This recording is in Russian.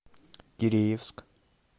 киреевск